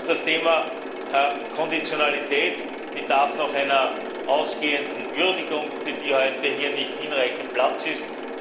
Auch das Thema Konditionalität bedarf noch einer ausgehenden Würdigung, für die heute hier nicht hinreichend Platz ist.